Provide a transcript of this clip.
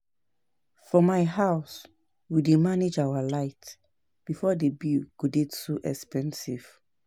I don tell my husband to remove money for light money for light bill